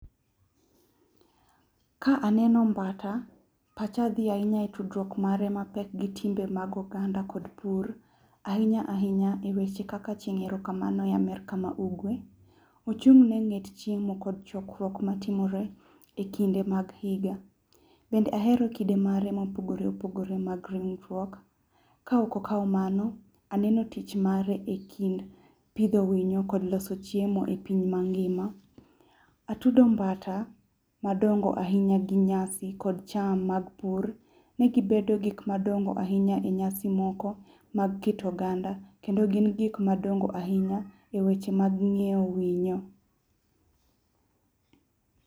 Ka aneno mbata, pacha dhi ahinya gi tudruok mare mapek gi timbe mag oganda kod pur ahinya ahinya e weche kaka chieng erokamano e Amerka ma ugwe. Ochung ne ng'et chiemo kod chokruok matimore ekinde mag higa, bende ahero kido mage ma opogore opogore mag ringruok ka ok okao mano, aneno tich mare e kind pidho winyo kod loso chiemo e piny mangima. Atudo mbata madongo ahinya gi nyasi kod cham mag pur ni gibedo gik madongo ahinya e nyasi moko mag keto oganda kendo gin gik madongo ahinya e weche mag ngeyo winyo